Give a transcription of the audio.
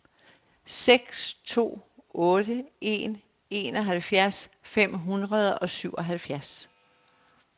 seks to otte en enoghalvfjerds fem hundrede og syvoghalvfjerds